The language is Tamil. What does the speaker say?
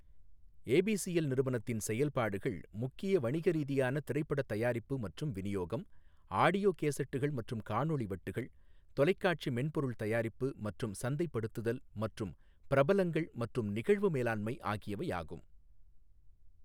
ஏபிசிஎல் நிறுவனத்தின் செயல்பாடுகள் முக்கிய வணிக ரீதியான திரைப்படத் தயாரிப்பு மற்றும் விநியோகம், ஆடியோ கேசட்டுகள் மற்றும் காணொளி வட்டுகள், தொலைக்காட்சி மென்பொருள் தயாரிப்பு மற்றும் சந்தைப்படுத்துதல் மற்றும் பிரபலங்கள் மற்றும் நிகழ்வு மேலாண்மை ஆகியவையாகும்.